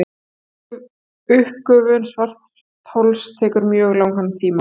uppgufun svarthols tekur mjög langan tíma